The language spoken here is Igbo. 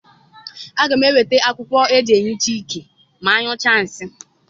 Aga m eweta akwụkwọ eji ehicha iké ma anụcha nsị.